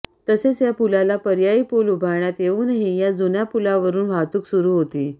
तसेच या पूलाला पर्यायी पूल उभारण्यात येऊनही या जुन्या पूलावरुन वाहतुक सुरु होती